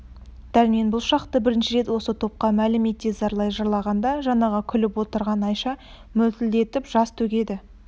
дәрмен бұл шақты бірінші рет осы топқа мәлім ете зарлай жырлағанда жаңағы күліп отырған айша мөлтілдетіп жас төгеді